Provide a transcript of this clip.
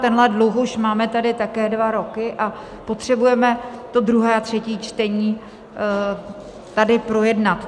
Tenhle dluh už máme tady také dva roky a potřebujeme to druhé a třetí čtení tady projednat.